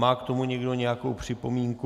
Má k tomu někdo nějakou připomínku?